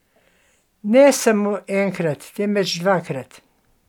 Ne samo enkrat, temveč dvakrat.